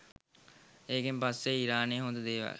ඒකෙන් පස්සේ ඉරානයේ හොඳ දේවල්